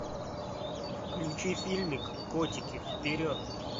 включи фильмик котики вперед